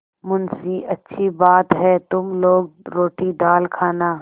मुंशीअच्छी बात है तुम लोग रोटीदाल खाना